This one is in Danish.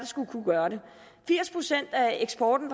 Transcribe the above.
skulle kunne gøre det firs procent af eksporten